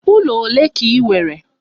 Ụlọ ole ka ị nwere?